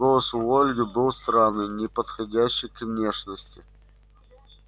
голос у ольги был странный неподходящий к внешности